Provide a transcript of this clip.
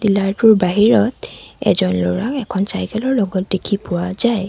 ডিলাৰটোৰ বাহিৰত এজন ল'ৰাক এখন চাইকেলৰ লগত দেখি পোৱা যায়।